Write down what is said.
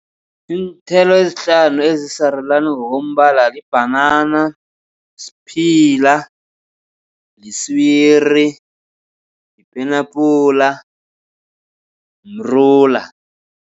Iinthelo ezihlanu ezisarulani ngokombala libhanana, siphila, liswiri, yipenabhula, mrula.